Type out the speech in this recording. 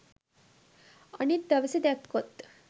අනිත් දවසේ දැක්කොත්